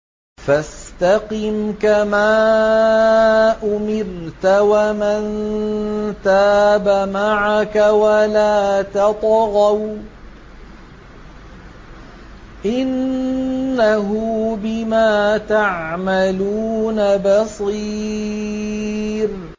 فَاسْتَقِمْ كَمَا أُمِرْتَ وَمَن تَابَ مَعَكَ وَلَا تَطْغَوْا ۚ إِنَّهُ بِمَا تَعْمَلُونَ بَصِيرٌ